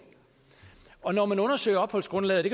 og når man undersøger opholdsgrundlaget